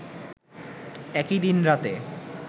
একই দিন রাতে